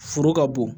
Foro ka bon